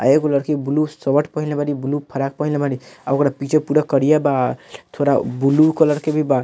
आ एगो लड़की ब्लू शर्ट पहिनले बाड़ी ब्लू फ्रॉक पहिनले बाड़ी आ ओकरा पीछे पुरा करिया बा थोड़ा ब्लू कलर के भी बा।